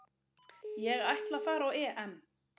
Ég ætla að fara á EM